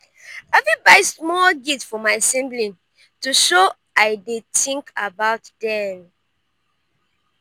i fit buy small gift for my sibling to show i dey think about them.